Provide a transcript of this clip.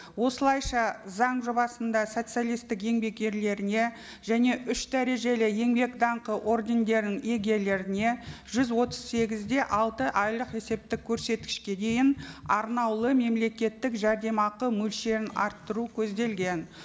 осылайша заң жобасында социалистік еңбек ерлеріне және үш дәрежелі еңбек даңқы ордендерінің иегерлеріне жүз отыз сегіз де алты айлық есептік көрсеткішке дейін арнаулы мемлекеттік жәрдемақы мөлшерін арттыру көзделген